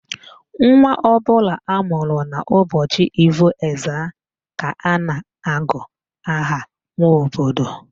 Nwa ọbụla amụrụ n'ụbọchị Ivo Ezza ka a na-agụ aha Nwobodo